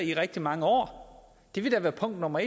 i rigtig mange år det vil da være punkt nummer